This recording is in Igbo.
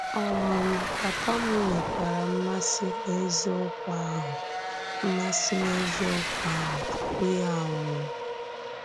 um Pàpà m nwekwara mmasì n’ezìokwu ahụ mmasì n’ezìokwu ahụ tupu ya ànwúọ.